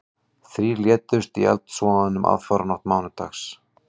Þrír létust í eldsvoðanum aðfararnótt mánudags